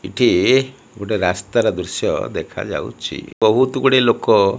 ଏଠି ଗୋଟେ ରାସ୍ତା ର ଦୃଶ୍ୟ ଦେଖା ଯାଉଛି ବହୁତ୍ ଗୁଡ଼ିଏ ଲୋକ --